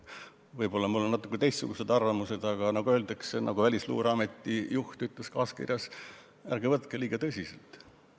Võib-olla on mul natukene teistsugused arvamused, aga nagu öeldakse – nagu Välisluureameti juht oma kaaskirjas ütles –, ärge võtke liiga tõsiselt.